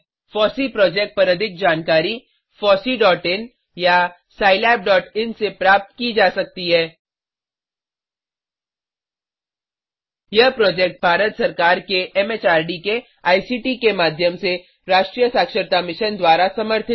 FOSSEE project पर अधिक जानकारी httpfosseein या httpscilabin से प्राप्त की जा सकती है भारत सरकार के एमएचआरडी आईसीटी के माध्यम से राष्ट्रीय शिक्षा मिशन द्वारा समर्थित